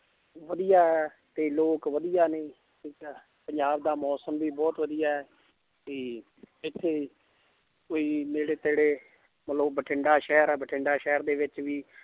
ਵਧੀਆ ਹੈ ਤੇ ਲੋਕ ਵਧੀਆ ਨੇ ਠੀਕ ਹੈ ਪੰਜਾਬ ਦਾ ਮੌਸਮ ਵੀ ਬਹੁਤ ਵਧੀਆ ਹੈ ਤੇ ਇੱਥੇ ਕੋਈ ਨੇੜੇ ਤੇੜੇ ਬਠਿੰਡਾ ਸ਼ਹਿਰ ਹੈ ਬਠਿੰਡਾ ਸ਼ਹਿਰ ਦੇ ਵਿੱਚ ਵੀ